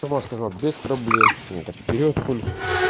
сама сказала без проблем ну так вперёд хули